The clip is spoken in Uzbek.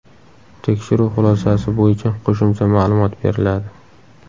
Tekshiruv xulosasi bo‘yicha qo‘shimcha ma’lumot beriladi.